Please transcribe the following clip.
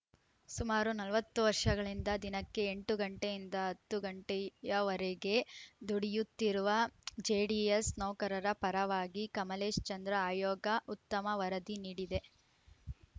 ಸುಮಾರು ನಲವತ್ತು ವರ್ಷಗಳಿಂದ ದಿನಕ್ಕೆ ಎಂಟು ಗಂಟೆಯಿಂದ ಹತ್ತು ಗಂಟೆಯವರೆಗೆ ದುಡಿಯುತ್ತಿರುವ ಜಿಡಿಎಸ್‌ ನೌಕರರ ಪರವಾಗಿ ಕಮಲೇಶ್‌ ಚಂದ್ರ ಆಯೋಗ ಉತ್ತಮ ವರದಿ ನೀಡಿದೆ